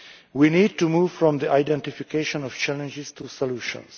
We need to move from the identification of challenges to solutions.